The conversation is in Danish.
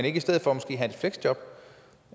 ikke i stedet for have et fleksjob